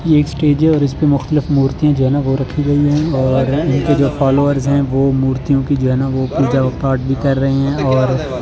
ये एक स्टेज है और इस पे मुक्तलिफ मूर्तियां जो है ना वो रखी गई है और इनके जो फॉलोअर्स हैं वो मूर्तियों की जो है ना वो पूजा पाठ भी कर रहे हैं और--